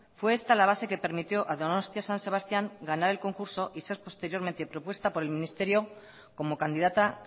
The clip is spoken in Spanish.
fue esta la base que permitió a donostia san sebastián ganar el concurso y ser posteriormente propuesta por el ministerio como candidata